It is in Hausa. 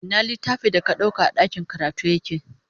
Ina littafin da ka ɗauka a ɗakin karatu yake?